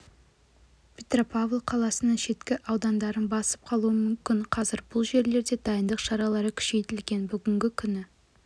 петропавл қаласының шеткі аудандарын басып қалуы мүмкін қазір бұл жерлерде дайындық шаралары күшейтілген бүгінгі күні